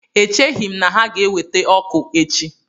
Echeghị m na ha ga-eweta ọkụ echi